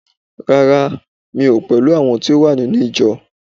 rara, mi o pẹlú àwọn ti o wa ninu ijọ